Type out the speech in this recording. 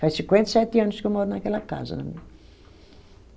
Faz cinquenta e sete anos que eu moro naquela casa.